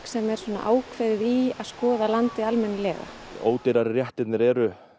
sem er ákveðnara í að skoða landið almennilega ódýrari réttirnir eru